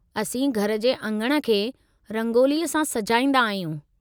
असीं घर जे अङण खे रंगोलीअ सां सजाईंदा आहियूं।